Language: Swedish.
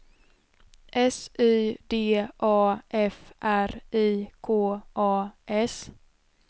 S Y D A F R I K A S